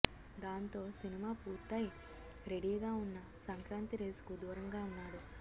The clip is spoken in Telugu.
దాంతో సినిమా పూర్తై రెడీగా ఉన్నా సంక్రాంతి రేసు కు దూరంగా ఉన్నాడు